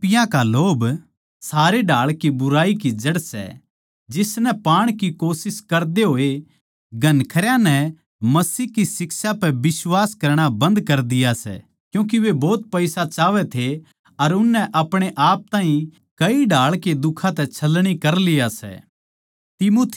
क्यूँके रपियाँ का लोभ सारे ढाळ की बुराई की जड़ सै जिसनै पाण की कोशिश करदे होए घणखरयां नै मसीह की शिक्षायाँ पै बिश्वास करणा बन्द कर दिया सै क्यूँके वे भोत पईसा चाहवै थे अर उननै अपणे आप ताहीं कई ढाळ के दुखां तै छलनी कर लिया सै